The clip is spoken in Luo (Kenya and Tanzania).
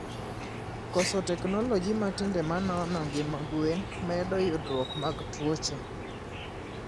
koso teknology matinde manono ngima gwen medo yudruok mag tuoche